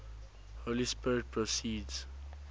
holy spirit proceeds